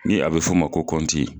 Ni a be f'o ma ko